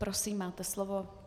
Prosím, máte slovo.